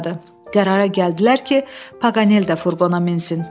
Qərara gəldilər ki, Paqanel də furqona minsın.